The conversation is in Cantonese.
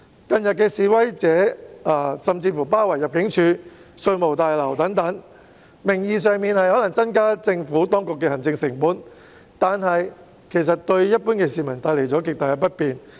近日示威者甚至包圍入境事務大樓及稅務大樓等，名義上是"增加政府當局的行政成本"，但事實上卻為一般市民帶來了極大不便。